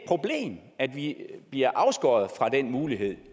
problem at vi bliver afskåret fra den mulighed